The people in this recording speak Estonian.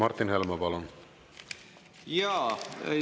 Martin Helme, palun!